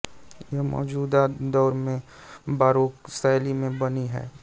यह मौजूदा दौर में बारोक शैली में बनी है